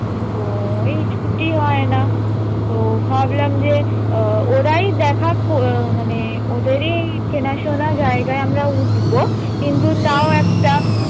তো এই ছুটি হয় না তো ভাবলাম যে আহ ওরাই দেখা কো~ মানে ওদেরই চেনাশোনা জায়গায় আমরা উঠবো কিন্তু তাও একটা,